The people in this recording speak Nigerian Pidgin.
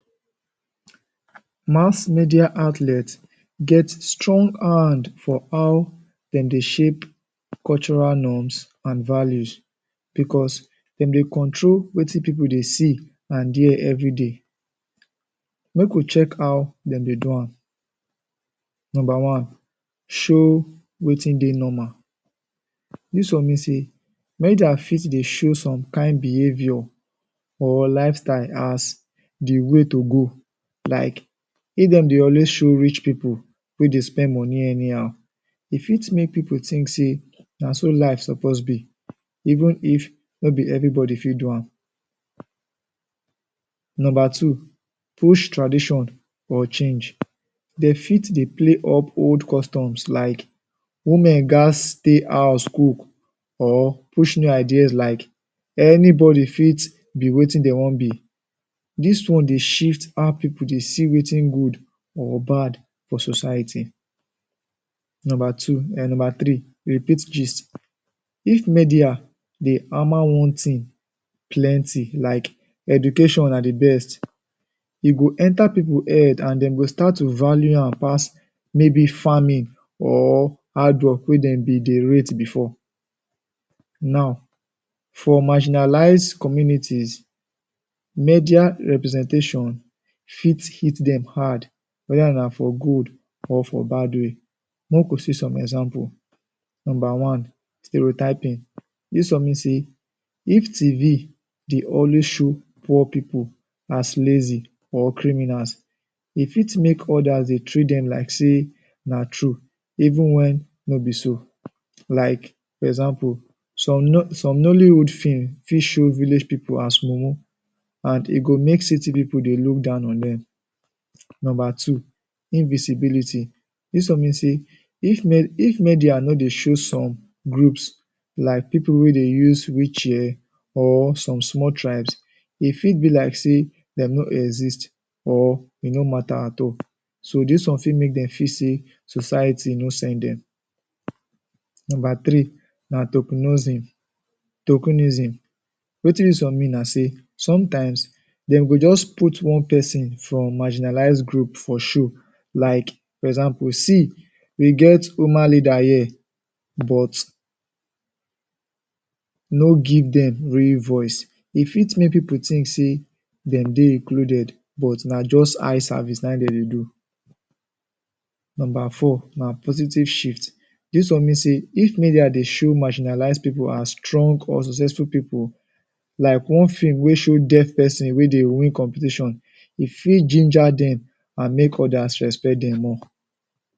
Mass media outlet get strong hand for how dem dey shape cultural norms and and values because dem dey control wetin people dey see and hear everyday. Make we check how dem dey do am. Number one, show wetin dey normal. Dis one mean say make their feeds dey show some kain behavior or lifestyle as the way to go like if dem dey always show rich people wey dey spend money anyhow, e fit make people think say na so life suppose be, even if no be everybody fit do am. Number two, push tradition or change. Dey fit dey play up old customs like, “women ghats stay house cook” or push new ideas like, “anybody fit wetin dey wan be”. Dis one dey shift how people dey see wetin good or bad for society. Number two um number three, repeat gist. If media dey hammer one thing plenty like, “education na the best", e go enter people head and dem go start to value am pass maybe farming or hardwork wey dem been dey rate before. Now, for marginalized communities, media representation fit hit dem hard whether na for good or for bad way. Make we see some example. Number one, stereotyping. This one mean say if TV dey always poor people as lazy or criminals, e fit make others dey treat dem like say na true even when no be so, like example some? some Nollywood film fit show village people as mumu e go make city people dey look down on dem. Number two, invisibility. Dis one mean say if me if media no dey show some groups like people wey dey use wheelchair or some small tribes, e fit be like say dem no exist or e no matter at all. So dis one fit make dem feel say society no send dem. Number three,? Wetin dis one mean na say sometimes dey go just put one person from marginalized group for show, like for example, “see we get woman leader here” but no give dem real voice. E fit make people think say dem dey included but na just eye service na im dem dey do. Number four, na positive shift. Dis one mean say if media dey show marginalized people as strong or successful people like one film wey show deaf person wey dey win competition, e fit ginger dem and make others respect dem more.